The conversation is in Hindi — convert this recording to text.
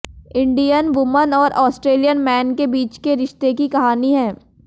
इंडियन वुमन और ऑस्ट्रेलियन मैन के बीच के रिश्ते की कहानी है